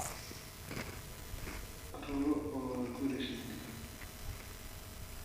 Rugo waa guri shinni.